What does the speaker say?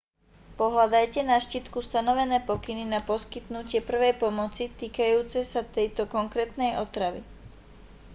pohľadajte na štítku stanovené pokyny na poskytnutie prvej pomoci týkajúce sa tejto konkrétnej otravy